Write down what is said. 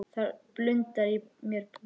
Það blundar í mér púki.